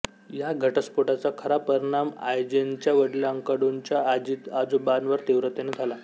या घटस्फोटाचा खरा परिणाम आयजेनच्या वडीलांकडूनच्या आजीआजोबावर तीव्रतेने झाला